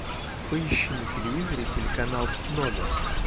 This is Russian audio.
поищи на телевизоре телеканал номер